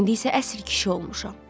İndi isə əsl kişi olmuşam.